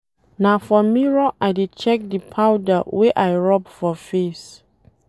Na for mirror I dey check di powder wey I rob for face.